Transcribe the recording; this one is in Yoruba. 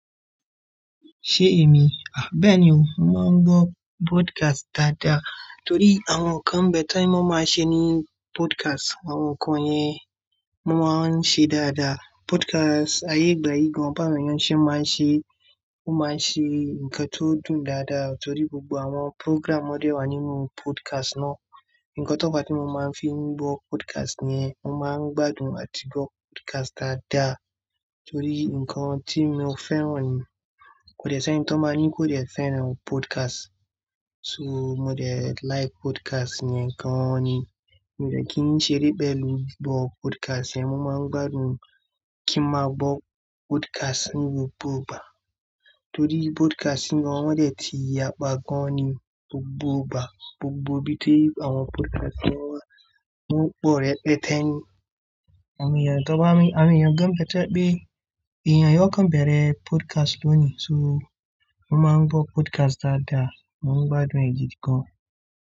Ṣé èmi? Bẹ́ẹ̀ ni o, mo máa ń gbọ́ podcast dáadáa torí àwọn ǹkan ń bẹ́ẹ̀ tí wọ́n máa ń ṣe ní podcast, àwọn kan yẹn wọ́n máa ń ṣe dáadáa. Podcast ayé gbayì gan, bàwọn èyàn ṣé máa ń ṣe, ó máa ń ṣe nǹkan tó dùn dáadáa torí gbogbo àwọn program wọn dé wà nínú podcast náà. Ǹkan tó fa tí mo máa ń fi gbọ́ podcast yẹn, mo máa ń gbádùn àti gbọ́ podcast dáadáa torí nǹkan tí mo fẹ́ràn ni kò dẹ sẹ́ni tí wọ́n bá ní kó dẹ fẹ́ràn podcast. So mo dẹ like podcast yẹn gan ni. Mo dẹ kí n ṣeré pẹ̀lú gbọ́ podcast yẹn, mo máa ń gbádùn kí n máa gbọ́ podcast ní gbogbo ìgbà torí podcast ni wọ́n dẹ̀ ti yàpá gan ni gbogbo ìgbà. Gbogbo bí tí àwọn podcast náà mú pọ̀ rẹ pẹtẹ ni, àmì ẹ̀yàn gba, àmì ẹ̀yàn gan pẹtẹpẹ. Ìyẹn àwọn kan bẹ̀rẹ̀ podcast lónìí so wọ́n máa ń gbọ́ podcast dáadáa, wọ́n gbádùn rẹ̀ gidi gan.